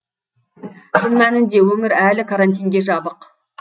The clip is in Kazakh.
шын мәнінде өңір әлі карантинге жабық